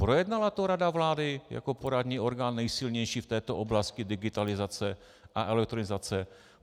Projednala to rada vlády jako poradní orgán nejsilnější v této oblasti digitalizace a elektronizace?